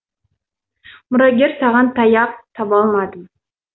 мұрагер саған таяқ таба алмадым